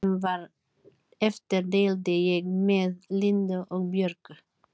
Því sem var eftir deildi ég með Lindu og Björgu.